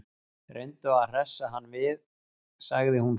Reyndu að hressa hann við sagði hún svo.